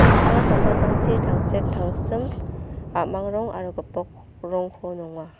pakma samtangtangchi tangsek tangsim a·mang rong aro gipok rongko nonga.